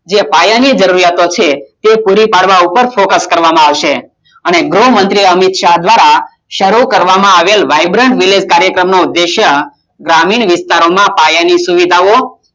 જે પાયાની જરૂરિયાતો છે તે પૂરી પાડવા ઉપર focus કરવામાં આવશે અને ગૃહમંત્રી અમિત શાહ દ્વારા શરૂ કરવામાં આવેલ vibrant village કાર્યક્રમ નો ઉદ્દેશ્ય ગ્રામીણ વિસ્તારોમાં પાયાની સુવિધાઓ